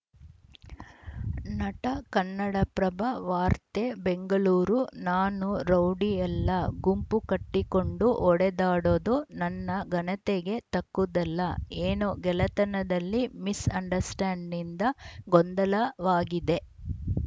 ನಟ ಕನ್ನಡಪ್ರಭ ವಾರ್ತೆ ಬೆಂಗಳೂರು ನಾನು ರೌಡಿಯಲ್ಲ ಗುಂಪು ಕಟ್ಟಿಕೊಂಡು ಹೊಡೆದಾಡೋದು ನನ್ನ ಘನತೆಗೆ ತಕ್ಕುದಲ್ಲ ಏನೋ ಗೆಳೆತನದಲ್ಲಿ ಮಿಸ್‌ ಅಂಡರ್‌ಸ್ಟ್ರ್ಯಾಂಡ್‌ನಿಂದ ಗೊಂದಲವಾಗಿದೆ